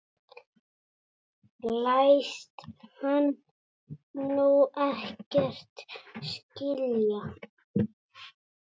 Læst hann nú ekkert skilja?